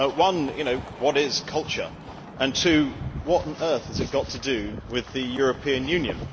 One what is culture? And two what on earth has it got to do with the European Union?